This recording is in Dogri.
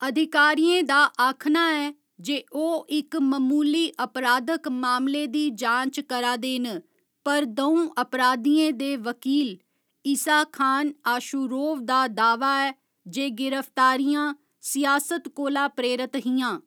अधिकारियें दा आखना ऐ जे ओह् इक ममूली अपराधक मामले दी जांच करा दे न, पर द'ऊं अपराधियें दे वकील इसाखान आशुरोव दा दाह्‌वा ऐ जे गिरफ्तारियां सियासत कोला प्रेरत हियां।